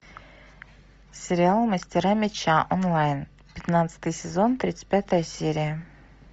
сериал мастера меча онлайн пятнадцатый сезон тридцать пятая серия